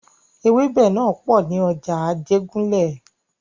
Ewẹ́bẹ̀ náà pò ní ọjà Ajégúnlẹ̀.